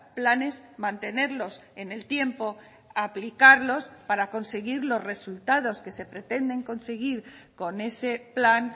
planes mantenerlos en el tiempo aplicarlos para conseguir los resultados que se pretenden conseguir con ese plan